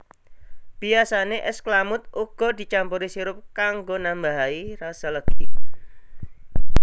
Biyasane es klamud uga dicampuri sirup kanggo nambahai rasa legi